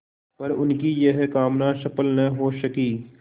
पर उनकी यह कामना सफल न हो सकी